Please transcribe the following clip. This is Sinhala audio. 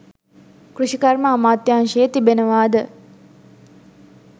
කෘෂිකර්ම අමාත්‍යංශයේ තිබෙනවාද?